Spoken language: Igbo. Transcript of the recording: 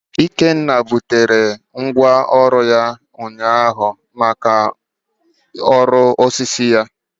Ikenna gotere ngwaọrụ ụnyaahụ maka ọrụ osisi ya